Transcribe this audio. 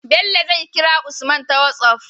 Bello zai kira usman ta whatsapp